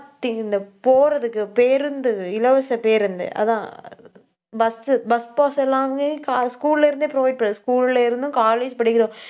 இந்த போறதுக்கு பேருந்து, இலவச பேருந்து, அதான் bus உ bus pass எல்லாமே கா~ school ல இருந்தே provide பண்ணி~ school ல இருந்தும், college படிக்கிற